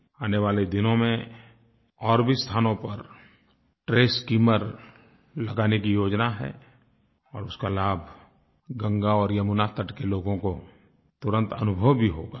आने वाले दिनों में और भी स्थानों पर ट्रैश स्किमर लगाने की योजना है और उसका लाभ गंगा और यमुना तट के लोगों को तुरंत अनुभव भी होगा